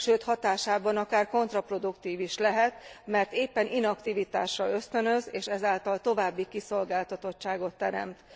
Sőt, hatásában akár kontraproduktív is lehet, mert éppen inaktivitásra ösztönöz és ez által további kiszolgáltatottságot teremt.